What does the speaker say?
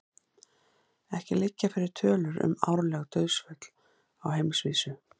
Ekki liggja fyrir tölur um árleg dauðsföll á heimsvísu.